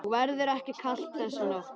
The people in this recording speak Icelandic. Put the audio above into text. Og verður ekki kalt þessa nótt.